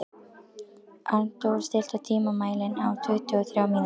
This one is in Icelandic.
Arndór, stilltu tímamælinn á tuttugu og þrjár mínútur.